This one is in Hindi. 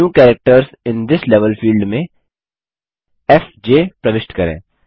new characters in this level field में एफजे प्रविष्ट करें